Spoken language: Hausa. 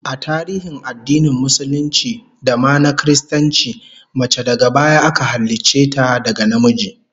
A tarihin addinin Musulunci da ma na Kiristanci, mace daga baya aka halicce ta daga namiji